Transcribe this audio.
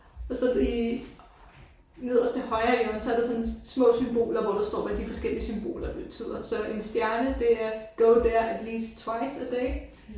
Og så i nederste højre hjørne så er der sådan små symboler hvor der står hvad de forskellige symboler betyder. Så en stjerne det er go there at least twice a day